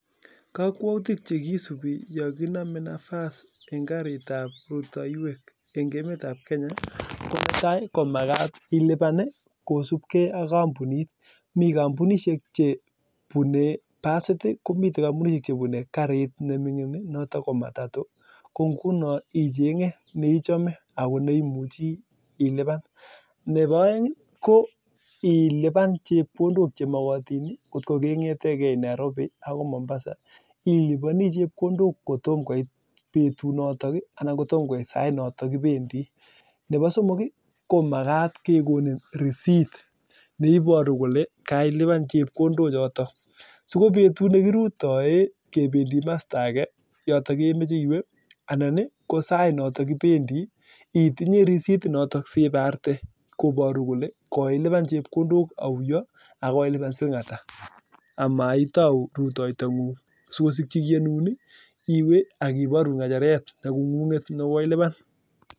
Kakwautik chekisubii yakinamee nafas eng karit ab rutoywek ko netai ii komakat ilipan ii kosubkei ak kampunit mii kampunishek cheboo basit anan ko karit ne mingin neboo aeng ko ilipan chepkondok che makatin eng kasarta nemakat nebo somong ko makat kekonin risit neibaruu kolee kailipan chepkondok chotok